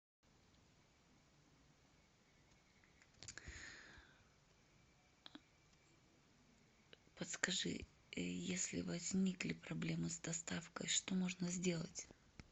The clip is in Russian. подскажи если возникли проблемы с доставкой что можно сделать